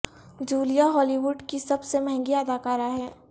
Julia Hollywood کی سب سے مہنگی اداکارہ ہیں